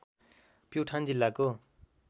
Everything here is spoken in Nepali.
प्युठान जिल्लाको